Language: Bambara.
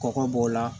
Kɔgɔ b'o la